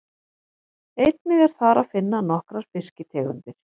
Einnig er þar að finna nokkrar fiskitegundir.